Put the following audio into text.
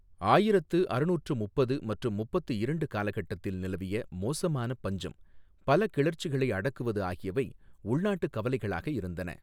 ஆயிரத்து அறுநூற்று முப்பது மற்றும் முப்பத்து இரண்டு காலகட்டத்தில் நிலவிய மோசமான பஞ்சம், பல கிளர்ச்சிகளை அடக்குவது ஆகியவை உள்நாட்டுக் கவலைகளாக இருந்தன.